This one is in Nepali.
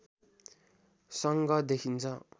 सङ्घ देखिन्छ